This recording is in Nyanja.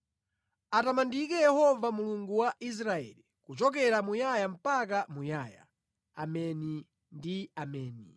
Atamandike Yehova Mulungu wa Israeli kuchokera muyaya mpaka muyaya. Ameni ndi Ameni.